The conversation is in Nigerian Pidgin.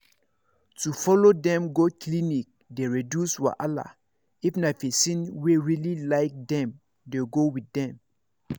to follow dem go clinic dey reduce wahala if na person wey really like them dey go with dem